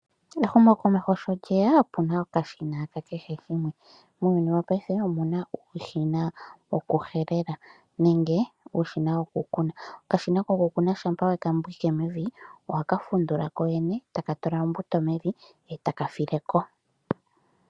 Ehumokomeho sho lyeya opuna okashina ka kehe gumwe . Muuyuni wo paife omuna uushina woku helela nenge uushina woku kuna . Okashina koku kuna shampa weka ndjikike mevi ohaka fundula ko kene etaka tula ombuto mevi etaka fileko.